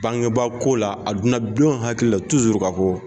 Bangebaako la a donna den hakili la k'a fɔ ko.